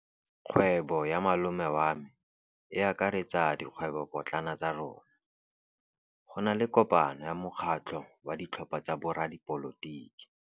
Kgwêbô ya malome wa me e akaretsa dikgwêbôpotlana tsa rona. Go na le kopanô ya mokgatlhô wa ditlhopha tsa boradipolotiki.